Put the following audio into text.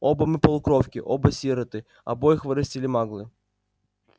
оба мы полукровки оба сироты обоих вырастили маглы